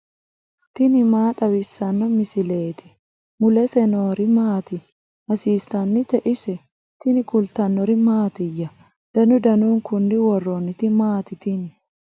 tini maa xawissanno misileeti ? mulese noori maati ? hiissinannite ise ? tini kultannori mattiya? danu danunkunni woroonnitti maatti tini?